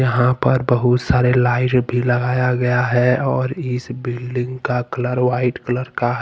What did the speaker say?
यहां पर बहुत सारे लाइट भी लगाया गया है और इस बिल्डिंग का कलर वाइट कलर का है।